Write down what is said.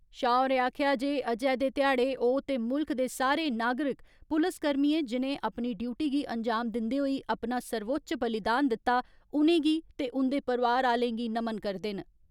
शाह होरें आक्खेया जे अजे दे ध्याड़े ओ ते मुल्ख दे सारे नागरिक पुलस कर्मियें जिनें अपनी ड्यूटी गी अंजाम दिन्दे होई अपना सर्वोच्चय बलिदान दिता उनेंगी ते उन्दे परिवार आलें गी नमन करदे न।